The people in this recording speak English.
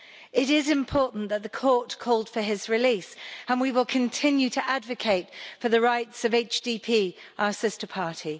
It is important that the Court called for his release and we will continue to advocate for the rights of HDP, our sister party.